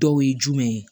Dɔw ye jumɛn ye